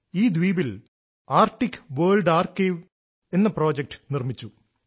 ഈ ദ്വീപിൽ Arctic World Archive എന്ന പ്രോജക്റ്റ് നിർമ്മിച്ചു